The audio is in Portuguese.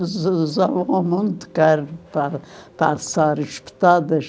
Usavam mu muita carne para passar as pitadas.